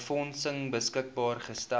befondsing beskikbaar gestel